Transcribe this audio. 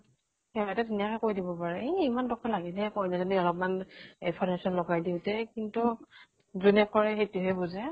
হিহতে ধুনিয়াকে কৈ দিব পাৰে এ ইমান টকা লাগে নে কইনাজনী অলপ্মান এ ফাৰেচন লগাই দিওঁতে। যোনে কৰে সেইতোহে বুজে।